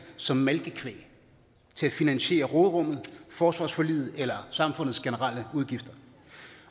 som malkekvæg til at finansiere råderummet forsvarsforliget eller samfundets generelle udgifter